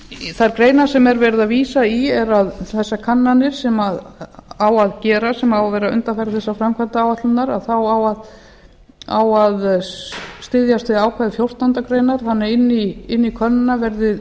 þær greinar sem verið er að vísa í er að þessar kannanir sem á að gera sem á að vera undanfari þessarar framkvæmdaáætlunar þá á að styðjast við ákvæði fjórtándu greinar þannig að inn í könnunina verði